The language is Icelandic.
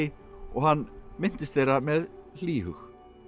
og hann minntist þeirra með hlýhug